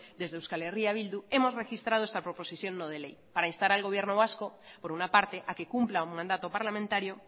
desde euskal herria bildu hemos registrado esta proposición no de ley para instar al gobierno vasco por una parte a que cumpla un mandato parlamentario